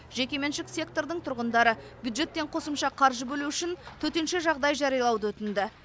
жекеменшік сектордың тұрғындары бюджеттен қосымша қаржы бөлу үшін төтенше жағдай жариялауды өтінді